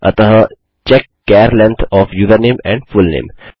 अतः check char length of username and full name